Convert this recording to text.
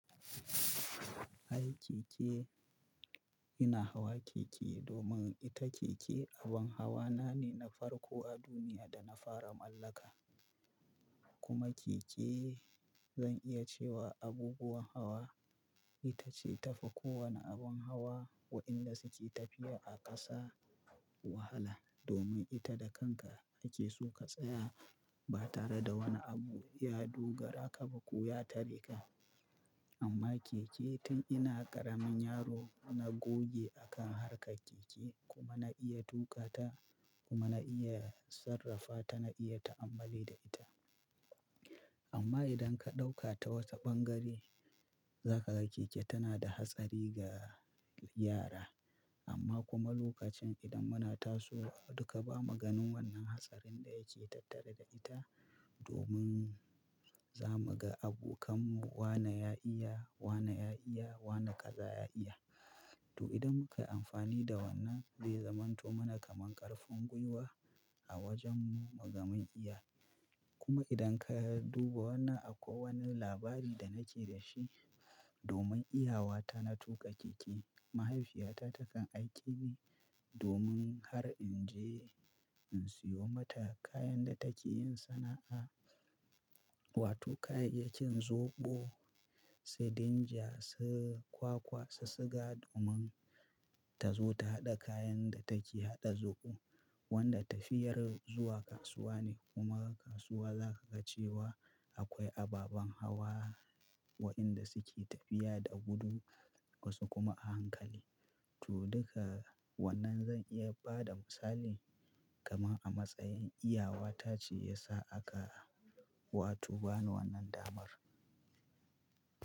Ai keke, ina hawa keke domin ita keke abin hawa na ne na farko a duniya da na fara mallaka. Kuma keke zan iya cewa abubuwan hawa ita ce tafi kowane abin hawa waɗanda suke tafiya a ƙasa wahala domin ita da kanka ake so ka tsaya ba tare da wani abu ya dogara ka ba ko ya tare ka. Amma keke tun ina ƙaramin yaro na goge a kan hawa kan keke kuma na iya tuka ta kuma na iya sarrafa ta na iya ta'ammali da ita. Amma idan ka ɗauka ta wata ɓangare za ka ga keke tana da hatsari ga yara. Amma kuma lokacin idan muna tasowa duka bamu ganin wannan hatsarin da yake tattare da ita domin za mu ga abokanmu wane ya iya, wane ya iya, wane kaza ya iya. To idan muka yi amfani da wannan zai zamanto mana kaman ƙarfin gwiwa a wajen mu ga mun iya. Kuma idan ka duba wannan a ko wani labari da nake da shi domin iyawa ta na tuƙa keke, mahaifiyata take aiki ne domin har in je in siyo mata kayan da take yin sana'a. Wato kayayyakin zoɓo, su dinja, su kwakwa, su suga domin tazo ta haɗa kayan da take haɗa zoɓo. Wanda tafiyar zuwa kasuwa ne kuma kasuwa za ka ga cewa akwai ababan hawa waɗanda suke tafiya da gudu wasu kuma a hankali. To duka wannan zan iya ba da misali kamar a matsayin iyawata ce ya sa aka wato bani wannan damar.